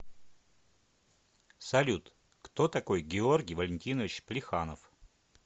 салют кто такой георгий валентинович плеханов